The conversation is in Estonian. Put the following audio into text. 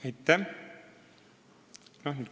Aitäh!